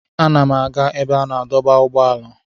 Ana m aga ebe a na-adọba ụgbọala.